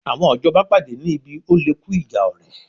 Àwọn ìjọba pàdé ní ibi oléku ìjà ọ̀rẹ̀